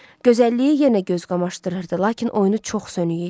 Gözəlliyi yenə göz qamaşdırırdı, lakin oyunu çox sönük idi.